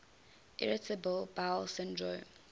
irritable bowel syndrome